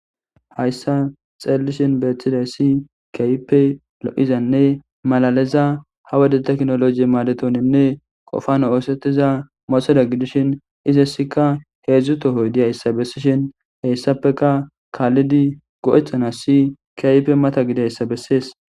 Haysan xelishen betidaysi kehipe lo'zane malaliza ha wode tekinoloje madetonine qofane osetiza motorey gidishin izasika hedzu tohoy diyaysa besishen hesapeka kalidi go'etanas kehipe mata gidiyaysa beses.